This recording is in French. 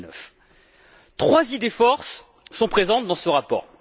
2009. Trois idées force sont présentes dans ce rapport.